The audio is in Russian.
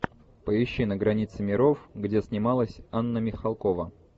поищи на границе миров где снималась анна михалкова